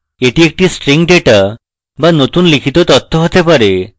এটি একটি string data be নতুন লিখিত তথ্য হতে পারে